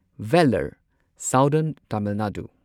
Vellore southern Tamil Nadu